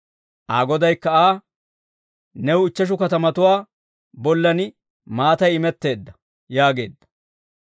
Aa Godaykka Aa, ‹New ichcheshu katamatuwaa bollan maatay imetteedda› yaageedda.